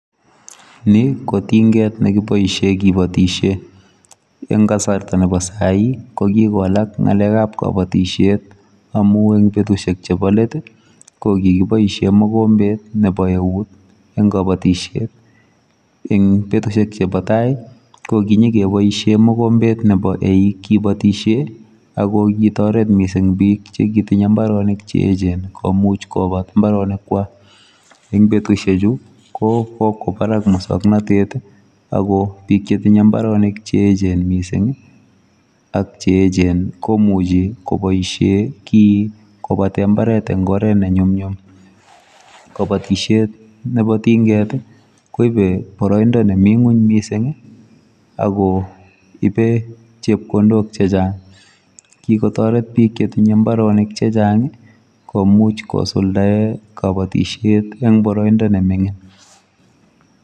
Ni ko tingeet nekibaisheen kibaisheen en kasarta nebo sai ii ko Kiko walak ngalek ab kabatisyeet amuun even betusiek che bo let ii ko kiboisien mongombet nebo eut en kabatisyeet eng betusiek che bo tai ko kinyogebaishen mogombeet nebo eiiig kibatiysyeen ako kit target missing biik che kotindoi mbaronik che eecheen komuuch kobaar mbaronik kwako en betusiek chu ko ko kwaa Barak musangnatet ako biik che tinyei mbaronik che eecheen missing ii ak cheecheen ii komuchei kobaisheen kiiy ii kobateen mbaret en oret ñe nyumnyum kabatisyeet ne bo tingeet ii koibet baraindaa nemii kweeny mising ii ako ibe chepkondook che chaang kikotaret biik che tinyei mbaronik che chaang ii komuuch kosuldaen kabatisyeet en baraindaa ne mingiin.